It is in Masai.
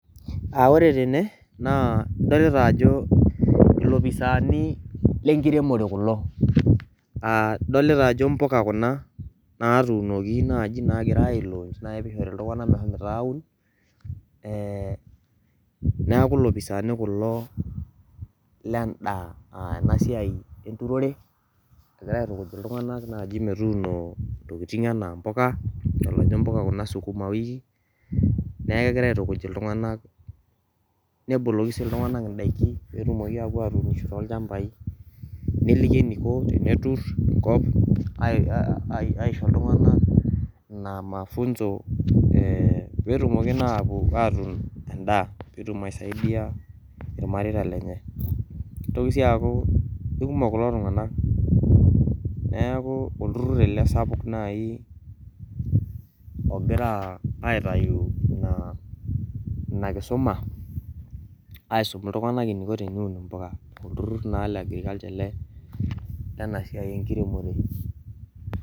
Ore tene adolita ajo lopisaani le nkiremore kulo, adolita ajo mpuka kuna natuuno naaaji nagirai ailaunch naa peishori ltunganak meshomo aun, naaku lopisaani kulo le indaa ena siaai enturore egira aitukuj ltunganak naaji metuuno ntokitin anaa mpuka, idol ajo mpuka kuna sugumawiki, naaku egirai aitukuj ltunganak neboloki sii ltunganak ndaki peetumoki aapo atuun too lchambai neliki eneiko teneturr enkop aisho ltunganak naa mafunso peetumoki naa aapo atuun endaa peetum aisaidia irmareita lenye, neitoki sii aaku kekumok kulo tunganak, neaku olturr ale sapuk naii aogira aitayu inaa nkisuma aisum ltunganak neiko tenewun impuka, oltururr naa le agriculture ale le ena siaii enkiremore.